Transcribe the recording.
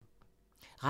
Radio 4